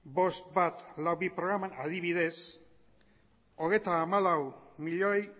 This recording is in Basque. bost mila ehun eta berrogeita bi programan adibidez hogeita hamalau milioi